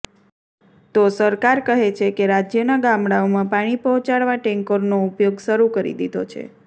તો સરકાર કહે છે કે રાજ્યના ગામડાઓમાં પાણી પહોંચાડવા ટેન્કરનો ઉપયોગ શરૂ કરી દીધો છે